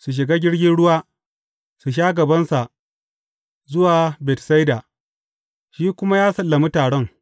su shiga jirgin ruwa, su sha gabansa zuwa Betsaida, shi kuma yă sallami taron.